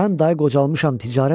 Mən day qocalmışam